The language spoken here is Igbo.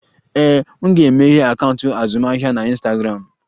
Ee, m ga-emeghe akaụntụ azụmahịa na Ịnstagramụ